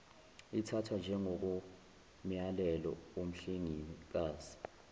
ithathwa njengokomyalelo womhlengikazi